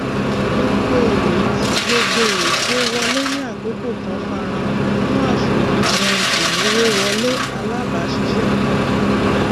èrò tinubu láti mú àwọn olúdókòwò òkè òkun wá ran um àwọn oloja kéékèèké lọwọ um